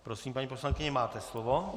Prosím, paní poslankyně, máte slovo.